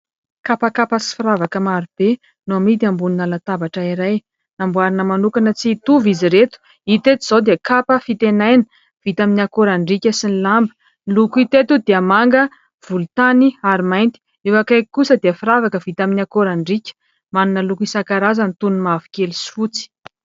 Kapakapa sy firavaka marobe no amidy amina latabatra iray. Namboarina manokana tsy hitovy izy ireto. Hita eto izao dia kapa fitenaina vita amin'ny akorandriaka sy ny lamba. Ny loko hita eto dia manga, volontany ary mainty. Eo akaiky kosa dia firavaka vita amin'ny akorandriaka manana loko isan-karazany toy ny mavokely sy fotsy.